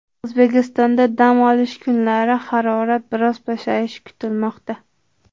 O‘zbekistonda dam olish kunlari harorat biroz pasayishi kutilmoqda.